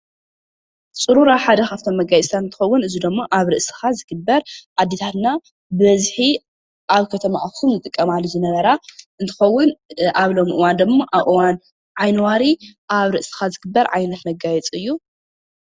ፅሩራ ሓደ ካብቶም መጋየፅታት ሓደ እንትከውን እዚ ድማ ኣብ ርእስካ ዝግበር ኣዴታትና ብበዝሒ ኣብ ከተማ ኣክሱም ዝጥቀማሉ ዝነበራ እትከውን፣ ኣብ እዋን ሎሚ እዋን ድማ ኣብ እዋን ዓይኒ ዋሪ ኣብ ዝግበር መጋየፂ እዩ፡፡